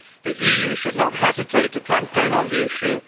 The EU should not hesitate to campaign on the issue.